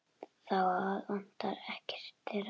Það vantar ekkert þeirra.